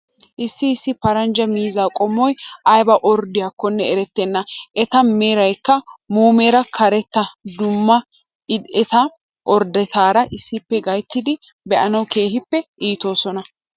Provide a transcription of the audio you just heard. Issi issi paranjja miizzaa qommoyi ayiiba orddidaakonne erettenna. Eta merayikka muumeera karetta dum''idi eta orddetettaara issippe gayittidi be'anawu keehippe iitoosona.